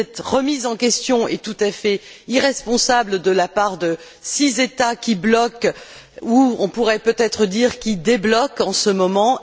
Cette remise en question est tout à fait irresponsable de la part des six États qui bloquent ou, on pourrait peut être dire, qui débloquent en ce moment.